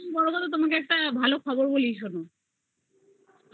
হ্যা আর সব থেকে বড়ো কথা তোমাকে একটা খবর বলি শোনো